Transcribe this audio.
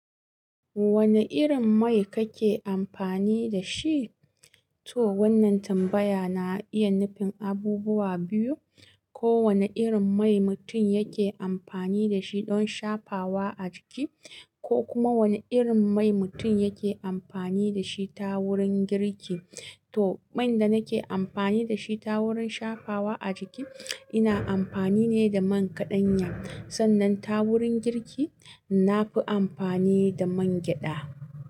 Wane irin mai kake amfani da shi? To wannan tambaya na iya nufin abubuwa biyu. Ko wane irin mai mutum yake amfani da shi don shafawa a jiki, ko kuma wane irin mai mutum yake amfani da shi ta wurin girki. To, man da nake amfani da shi ta wurin shafawa a jiki, ina amfani ne da man kaɗanya. Sannan ta wurin girki, na fi amfani da man gyaɗa.